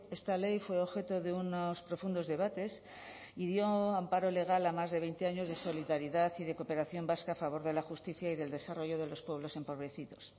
esta ley fue objeto de unos profundos debates y dio amparo legal a más de veinte años de solidaridad y de cooperación vasca a favor de la justicia y del desarrollo de los pueblos empobrecidos